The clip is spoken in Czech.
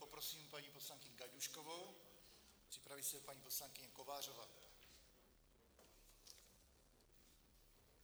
Poprosím paní poslankyni Gajdůškovou, připraví se paní poslankyně Kovářová.